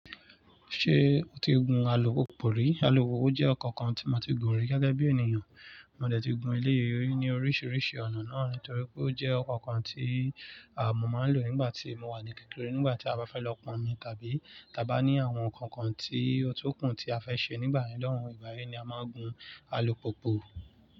Ṣé o ti gun alupupu rí? Alupupu jẹ́ ọko kan tí mo ti gun rí gẹ́gẹ́ bí ènìyàn. Mo dẹ̀ ti gun eléyi ri ni oríṣiríṣi ọ̀nà náà n torí pé ó jẹ́ ọko kan tí à mọ́ máa ń lò nígbà tí mo wà ní kékeré, nígbà tí a bá fẹ́ lọ pọnmi tàbí ta bá ní àwọn nǹkan kan tí ọ̀tun kún tí a fẹ́ ṣe nígbà yen lohun. Ni a máa ń gun alupupu.